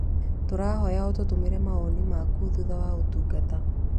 Tũrahoya ũtũtũmire mawoni maku thutha wa ũtungata.